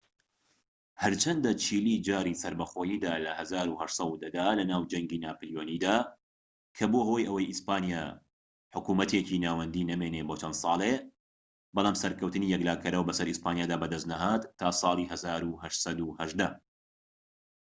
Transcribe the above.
هەرچەندە چیلی جاری سەربەخۆییدا لە ١٨١٠ دا لەناو جەنگی ناپلیۆنییدا کە بووە هۆی ئەوەی ئیسپانیا حکومەتێکی ناوەندیی نەمێنیت بۆ چەند سالێك، بەڵام سەرکەوتنی یەکلاکەرەوە بەسەر ئیسپانیادا بەدەستنەهات تا ساڵی ١٨١٨